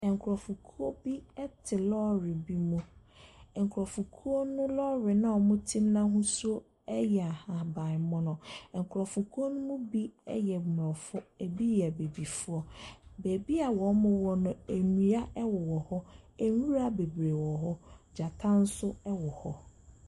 Nkurɔfokuo bi te lɔre bi mu. Nkurɔfokuo no lɔre no a wɔte mu no ahosuo yɛ ahaban mono. Nkurɔfokuo no mu bi yɛ aborɔfo, ebi yɛ abibifoɔ. Baabi a wɔwɔ no, nnua wowɔ hɔ. Nwura bebree wɔ hɔ. Gyata nso wɔ hɔ.